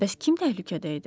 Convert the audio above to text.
Bəs kim təhlükədə idi?